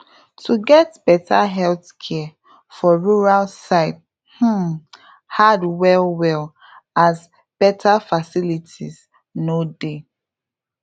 to get better health care for rural side um hard well well as better facilities no dey